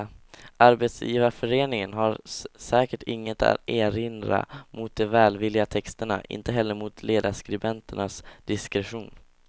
Arbetsgivarföreningen har säkert inget att erinra mot de välvilliga texterna, inte heller mot ledarskribenternas diskretion.